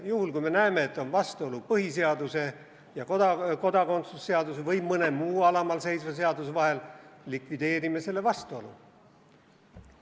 Juhul, kui me näeme, et on vastuolu põhiseaduse ja kodakondsuse seaduse või mõne muu alamal seisva seaduse vahel, likvideerime selle vastuolu.